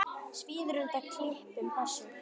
Svíður undan klipum þess.